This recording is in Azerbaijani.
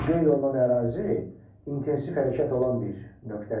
Qeyd olunan ərazi intensiv hərəkət olan bir nöqtədir.